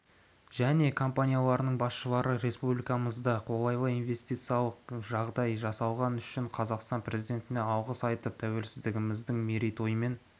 іі және компанияларының басшылары республикамызда қолайлы инвестициялық жағдай жасалғаны үшін қазақстан президентіне алғыс айтып тәуелсіздігіміздің мерейтойымен